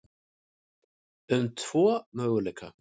um tvo möguleika.